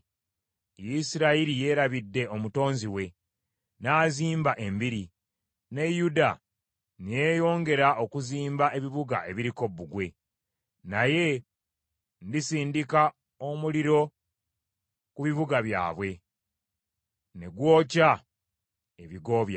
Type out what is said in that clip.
Isirayiri yeerabidde omutonzi we, n’azimba embiri, ne Yuda ne yeeyongera okuzimba ebibuga ebiriko bbugwe; naye ndisindika omuliro ku bibuga byabwe, ne gwokya ebigo byabwe.”